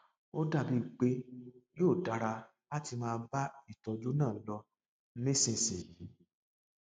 ó dàbí pé yóò dára láti máa bá ìtọjú náà lọ nísinsìnyí